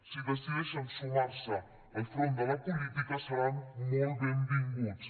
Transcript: si decideixen sumar se al front de la política seran molt benvinguts